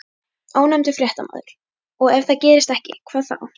Ónefndur fréttamaður: Og ef það gerist ekki, hvað þá?